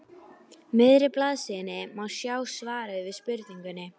miðri blaðsíðunni má sjá svarið við spurningunni